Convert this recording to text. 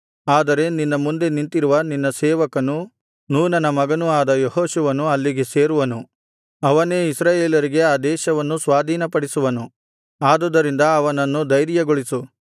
ಆದರೆ ನಿನ್ನ ಮುಂದೆ ನಿಂತಿರುವ ನಿನ್ನ ಸೇವಕನು ನೂನನ ಮಗನೂ ಆದ ಯೆಹೋಶುವನು ಅಲ್ಲಿಗೆ ಸೇರುವನು ಅವನೇ ಇಸ್ರಾಯೇಲರಿಗೆ ಆ ದೇಶವನ್ನು ಸ್ವಾಧೀನಪಡಿಸುವನು ಆದುದರಿಂದ ಅವನನ್ನು ಧೈರ್ಯಗೊಳಿಸು